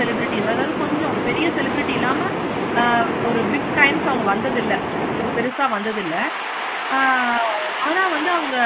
celebrities அதாவது கொஞ்சம் பெரிய celebrity இல்லாம ஆஹ் ஒரு big time க்கு வந்தது இல்ல. பாரு பெருசா வந்தது இல்ல. ஆஹ் ஆனா வந்து அவங்க